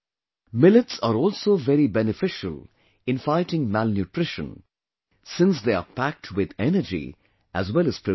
Millets are also very beneficial in fighting malnutrition, since they are packed with energy as well as protein